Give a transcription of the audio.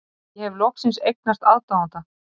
Ég hef loksins eignast aðdáanda.